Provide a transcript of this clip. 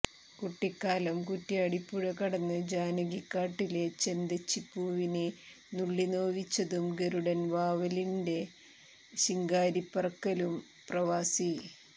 കുട്ടിക്കാലം കുറ്റ്യാടിപുഴകടന്ന് ജാനകിക്കാട്ടിലെ ചെന്തെച്ചിപ്പൂവിനെ നുള്ളിനോവിച്ചതും ഗരുഡൻ വാവലിന്റെ ശിങ്കാരിപറക്കലും പ്രവാസി